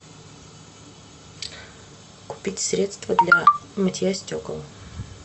купить средство для мытья стекол